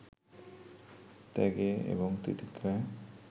ত্যাগে এবং তিতিক্ষায়